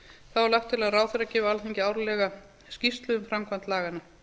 þá er lagt til að ráðherra gefi alþingi árlega skýrslu um framkvæmd laganna